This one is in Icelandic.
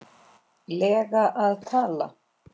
lega að tala?